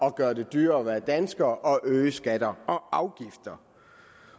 at gøre det dyrere at være dansker og at øge skatter og afgifter